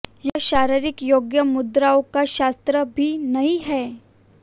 यह शारीरिक योग मुद्राओं का शास्त्र भी नहीं है